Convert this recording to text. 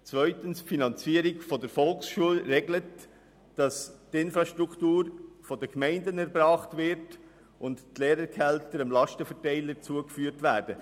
Zweitens regelt die Finanzierung der Volksschulen, dass die Infrastruktur von den Gemeinden erbracht wird und die Lehrergehälter dem Lastenverteiler zugeführt werden.